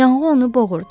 Yanğı onu boğurdu.